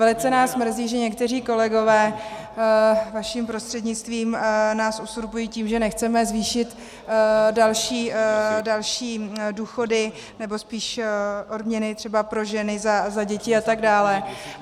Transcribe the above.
Velice nás mrzí, že někteří kolegové vaším prostřednictvím nás uzurpují (?) tím, že nechceme zvýšit další důchody, nebo spíš odměny třeba pro ženy za děti atd.